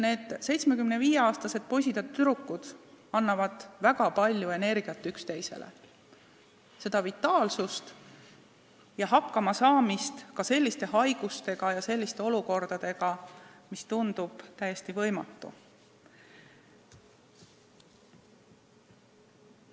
Need 75-aastased poisid ja tüdrukud annavad üksteisele väga palju energiat, neis on vitaalsust ja oskust hakkama saada ka selliste haiguste ja olukordadega, millega hakkama saada tundub täiesti võimatu.